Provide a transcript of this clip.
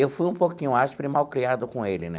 Eu fui um pouquinho áspero e malcriado com ele, né?